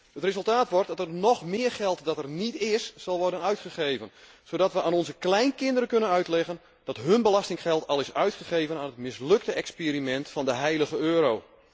Het resultaat wordt dat er nog meer geld dat er niet is, zal worden uitgegeven zodat wij aan onze kleinkinderen kunnen uitleggen dat hun belastinggeld al is uitgegeven aan het mislukte experiment van de heilige euro.